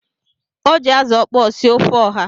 O ji azu okpo sie ofe oha.